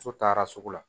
So taara sugu la